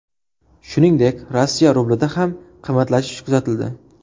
Shuningdek, Rossiya rublida ham qimmatlashish kuzatildi.